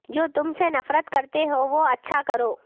جو تم سے نفرت کرتے ہو وہ اچھا کرو